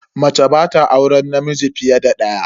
Mace ba ta auren namiji fiye da daya.